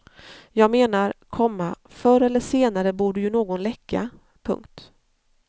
Jag menar, komma förr eller senare borde ju någon läcka. punkt